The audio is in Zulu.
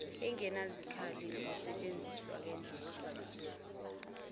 engenazikhali ukusentshenzisa kwendlela